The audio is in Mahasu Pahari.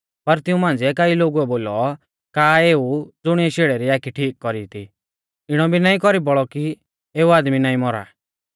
पर तिऊं मांझ़िऐ कई लोगुऐ बोलौ का एऊ ज़ुणिऐ शेड़ै री आखी ठीक कौरी थी इणौ भी नाईं कौरी बौल़ौ कि एऊ आदमी नाईं मौरा